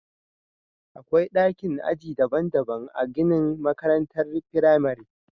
Akwai dakin aji daban-daban a ginin makarantar firamare